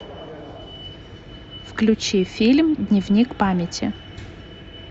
включи фильм дневник памяти